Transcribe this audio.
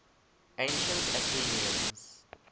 ancient athenians